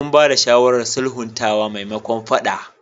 Mun bayar da shawarar sulhuntawa maimakon faɗa.